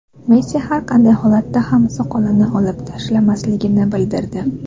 Messi har qanday holatda ham soqolini olib tashlamasligini bildirdi .